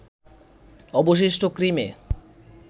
অবশিষ্ট ক্রিমে